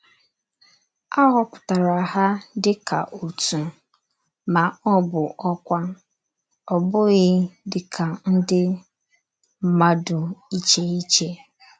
Á họ̀pùtàrà hà dịkà ọ̀tù, mà ọ̀ bụ ọ́kwà, ọ̀ bụ́ghị dìkà ndí mmádù ìchè ìchè.